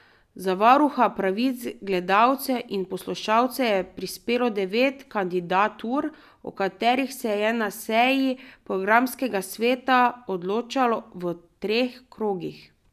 Za varuha pravic gledalcev in poslušalcev je prispelo devet kandidatur, o katerih se je na seji programskega sveta odločalo v treh krogih.